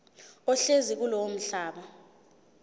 ohlezi kulowo mhlaba